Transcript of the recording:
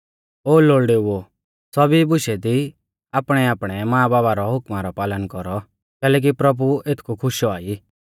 ओ लोल़ड़ेऊ ओ सौभी बुशै दी आपणैआपणै मांबाबा रौ हुकमा रौ पालन कौरौ कैलैकि प्रभु एथकु खुश औआ ई